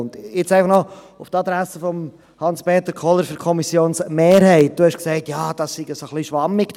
An die Adresse von Hans-Peter Kohler für die Kommissionsmehrheit: Sie haben gesagt, der Ausdruck sei etwas schwammig.